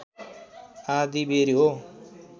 आँधीबेहरी हो